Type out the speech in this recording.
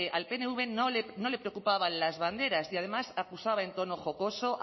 al pnv no le preocupaban las banderas y además acusada en tono jocoso